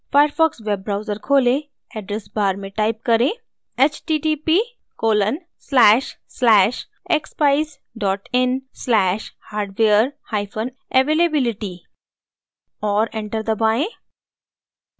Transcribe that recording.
firefox web browser खोलें address bar में type करें